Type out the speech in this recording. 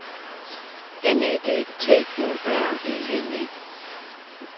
N E D T U R E N E